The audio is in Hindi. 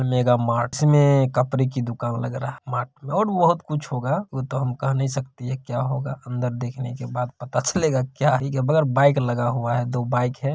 मृगा मार्टस मे कपड़े की दुकान लग रहा है और बोहुत कुछ होगा वो तो हम कह नहीं सकती क्या होगा अंदर देखने के बाद पता चलेगा क्या मगर बाइक आग हुआ है दो बाइक है ।